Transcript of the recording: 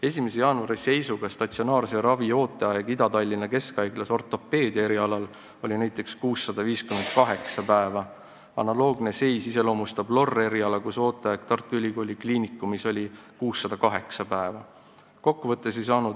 1. jaanuari seisuga oli statsionaarse ravi ooteaeg Ida-Tallinna Keskhaiglas ortopeedia erialal näiteks 658 päeva, analoogne seis iseloomustab LOR-eriala, kus ooteaeg Tartu Ülikooli Kliinikumis oli 608 päeva.